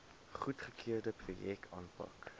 goedgekeurde projekte aanpak